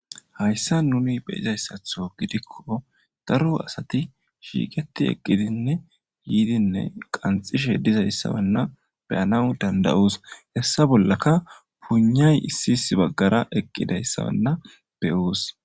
Hayssan nuni be'izayssatho gidikko daro asati shiiqetti eqqidinne yiidinne qanxishe dizayssanna be'anaw danda'os; hessa bollaka puynay issi baggara eqqidayssanna be'os.